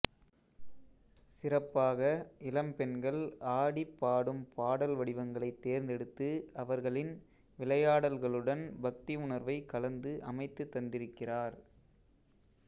சிறப்பாக இளம்பெண்கள் ஆடிப் பாடும் பாடல் வடிவங்களைத் தேர்ந்தெடுத்து அவர்களின் விளையாடல்களுடன் பக்தி உணர்வை கலந்து அமைத்துத் தந்திருக்கிறார்